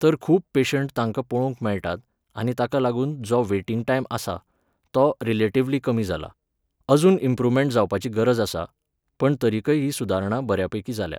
तर खूब पेशंट तांकां पळोवंक मेळटात आनी ताका लागून जो वेटिंग टायम आसा, तो रिलेटिवली कमी जाला. अजून इंप्रुवमेण्ट जावपाची गरज आसा, पण तरीकय ही सुदारणा बऱ्यापैकी जाल्या